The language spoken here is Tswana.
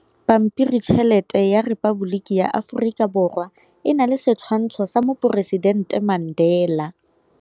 Pampiritšheletê ya Repaboliki ya Aforika Borwa e na le setshwantshô sa poresitentê Mandela.